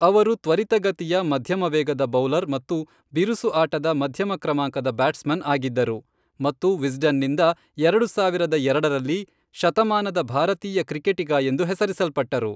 ಅವರು ತ್ವರಿತಗತಿಯ ಮಧ್ಯಮ ವೇಗದ ಬೌಲರ್ ಮತ್ತು ಬಿರುಸು ಆಟದ ಮಧ್ಯಮ ಕ್ರಮಾಂಕದ ಬ್ಯಾಟ್ಸ್ಮನ್ ಆಗಿದ್ದರು ಮತ್ತು ವಿಸ್ಡನ್ ನಿಂದ ಎರಡು ಸಾವಿರದ ಎರಡರಲ್ಲಿ ಶತಮಾನದ ಭಾರತೀಯ ಕ್ರಿಕೆಟಿಗ ಎಂದು ಹೆಸರಿಸಲ್ಪಟ್ಟರು.